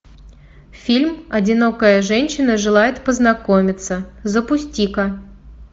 фильм одинокая женщина желает познакомиться запусти ка